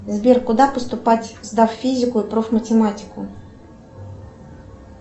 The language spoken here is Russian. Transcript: сбер куда поступать сдав физику и проф математику